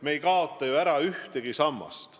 Me ei kaota ju ära ühtegi sammast.